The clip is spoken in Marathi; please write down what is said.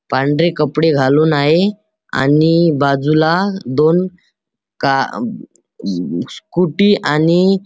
पांढरे कपडे घालून आहे आणि बाजूला दोन का स्कूटी आणि--